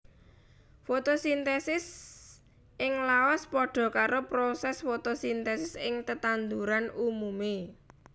Fotosintesis ing laos padha karo prosès fotosintesis ing tetanduran umumé